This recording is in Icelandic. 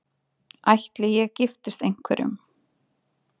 Ætli ég giftist einhverjum?